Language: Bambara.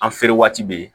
An feere waati bɛ yen